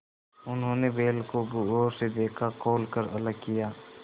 उन्होंने बैल को गौर से देखा खोल कर अलग किया